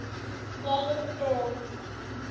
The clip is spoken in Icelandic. Geir Um.